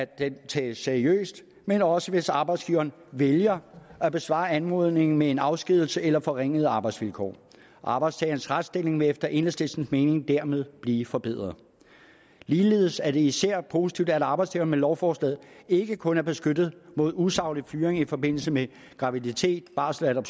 den tages seriøst men også hvis arbejdsgiveren vælger at besvare anmodningen med en afskedigelse eller forringede arbejdsvilkår arbejdstagerens retsstilling vil efter enhedslistens mening dermed blive forbedret ligeledes er det især positivt at arbejdstageren med lovforslaget ikke kun er beskyttet mod usaglig fyring i forbindelse med graviditet barsel eller